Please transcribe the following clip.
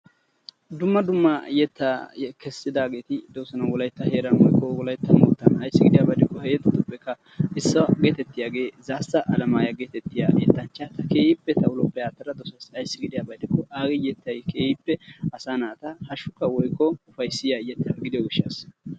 Dumma dumma yeta keesidageti dosona. Wolaytta heeran woykko wolaytta moottan; ayssi gidiyaba gidiko ha yetatupeka issuwa geetetiya Zaassa Alemaya geetetiya yetancha. Keehippe ta ulope attada dosaysi. Aysi gidiyaba gidiko agee yetay asaa naata hashshuka woykko ufayssiya yeta gidiyo gishshasa.